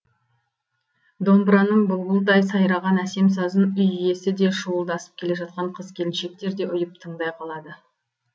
домбыраның бұлбұлдай сайраған әсем сазын үй иесі де шуылдасып келе жатқан қыз келіншектер де ұйып тыңдай қалады